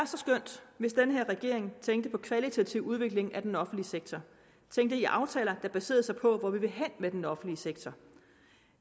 så skønt hvis den her regering tænkte på kvalitativ udvikling af den offentlige sektor tænkte i aftaler der baserede sig på hvor vi vil hen med den offentlige sektor